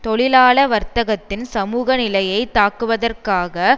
தொழிலாள வர்த்தத்தின் சமூக நிலையை தாக்குவதற்காக